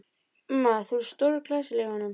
Mamma, þú ert stórglæsileg í honum.